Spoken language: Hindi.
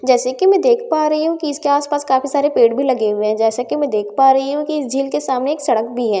जैसे कि मैं देख पा रही हूं कि इसके आसपास काफी सारे पेड़ भी लगे हुए हैं जैसे कि मैं देख पा रही हूं कि इस झील के सामने एक सड़क भी है जैसे कि मैं --